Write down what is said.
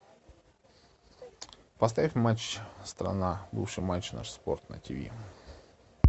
поставь матч страна бывший матч наш спорт на ти ви